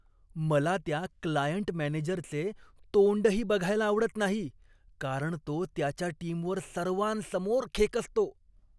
मला त्या क्लायंट मॅनेजरचे तोंडही बघायला आवडत नाही कारण तो त्याच्या टीमवर सर्वांसमोर खेकसतो.